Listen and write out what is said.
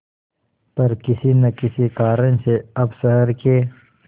पर किसी न किसी कारण से अब शहर के